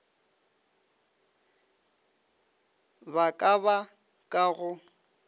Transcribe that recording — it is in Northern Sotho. ba ka ba ka go